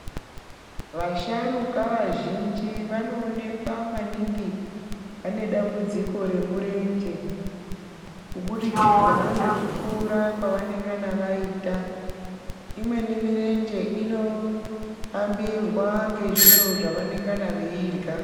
Vasharuka vazhinji vanoonekwa maningi vane dambudziko remurenje kubudikidza ngekukura kwavanengana vaita imweni mirenje ino hambirwa ngezviro zvava nengana veirya .